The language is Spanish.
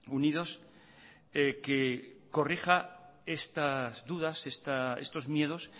unidos que corrija estas dudas estos miedos